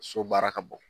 So baara ka bɔ